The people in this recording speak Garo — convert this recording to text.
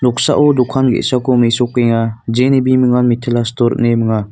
noksao dokan ge·sako mesokenga jeni bimungan mitila sitor ine minga.